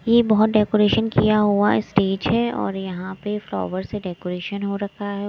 ये बहुत डेकोरेशन किया हुआ स्टेज है और यहां पे फ्लावर से डेकोरेशन हो रखा है।